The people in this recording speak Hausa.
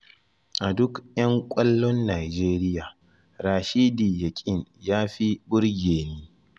A duk 'yan ƙwallon Nijeriya, Rashidi Yakin ya fi burge ni.